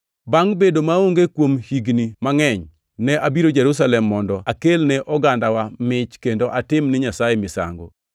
“Bangʼ bedo maonge kuom higni mangʼeny, ne abiro Jerusalem mondo akelne ogandawa mich kendo atim ni Nyasaye misango.